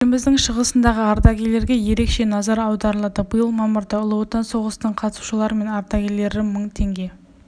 еліміздің шығысындағы ардагерелренге ерекше назар аударылады биыл мамырда ұлы отан соғысының қатысушылары мен ардагерлері мың теңге